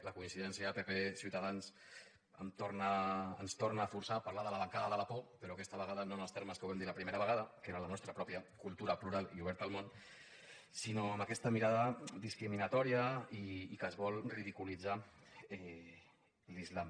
la coincidència de pp i ciutadans ens torna a forçar parlar de la bancada de la por però aquesta vegada no en els termes en què ho vam dir la primera vegada que era la nostra pròpia cultura plural i oberta al món sinó amb aquesta mirada discriminatòria i amb què es vol ridiculitzar l’islam